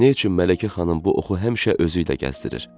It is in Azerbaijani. Nə üçün Mələkə xanım bu oxu həmişə özü ilə gəzdirir?